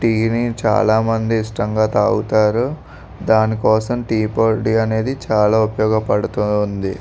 Tea ని చాలామంది ఇష్టంగా తాగుతారు. దానికోసం టీ పొడి అనేది చాలా ఉపయోగపడుతుంది.